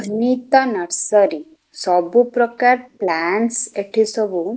Sunita nursery ସବୁ ପ୍ରକାର plants ଏଠି ସବୁ --